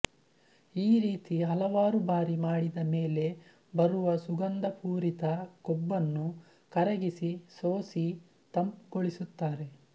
ಈ ರೀತಿ ಹಲವಾರು ಬಾರಿ ಮಾಡಿದ ಮೇಲೆ ಬರುವ ಸುಗಂಧಪೂರಿತ ಕೊಬ್ಬನ್ನು ಕರಗಿಸಿ ಸೋಸಿ ತಂಪುಗೊಳಿಸುತ್ತಾರೆ